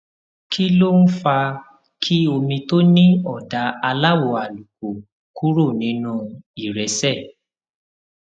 kí ló ń fa kí omi tó ní òdà aláwò àlùkò kúrò nínú ìrẹsè